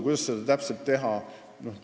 Kuidas seda täpselt teha?